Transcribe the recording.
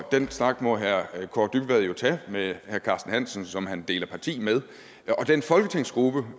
den snak må herre kaare dybvad jo tage med herre carsten hansen som han deler parti med og den folketingsgruppe